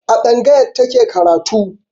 A tsangayar ta ke karatu.